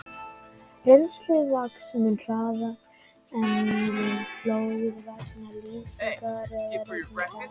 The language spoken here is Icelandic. Rennslið vex mun hraðar en við flóð vegna leysingar eða rigningar.